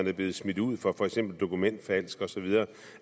er blevet smidt ud for dokumentfalsk osv